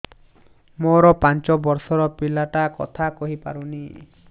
ମୋର ପାଞ୍ଚ ଵର୍ଷ ର ପିଲା ଟା କଥା କହି ପାରୁନି